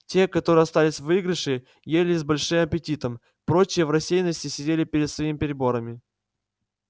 те которые остались в выигрыше ели с большим аппетитом прочие в рассеянности сидели перед своими приборами